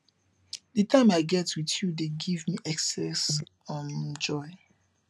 di time i get with you dey give me excess um joy